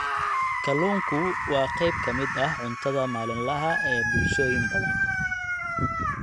Kalluunku waa qayb ka mid ah cuntada maalinlaha ah ee bulshooyin badan.